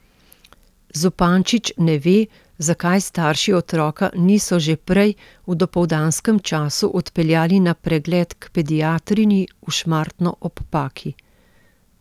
Zupančič ne ve, zakaj starši otroka niso že prej, v dopoldanskem času odpeljali na pregled k pediatrinji v Šmartno ob Paki.